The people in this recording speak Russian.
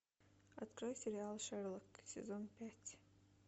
открой сериал шерлок сезон пять